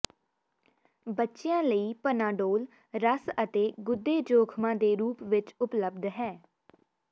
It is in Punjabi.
ਬੱਚਿਆਂ ਲਈ ਪਨਾਡੋਲ ਰਸ ਅਤੇ ਗੁਦੇ ਜੋਖਮਾਂ ਦੇ ਰੂਪ ਵਿਚ ਉਪਲਬਧ ਹੈ